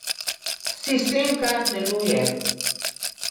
Sistem kar deluje.